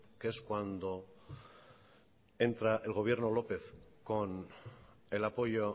que es cuando entra el gobierno lópez con el apoyo